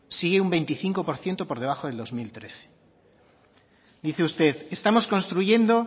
sigue un veinticinco por ciento por debajo del dos mil trece dice usted estamos construyendo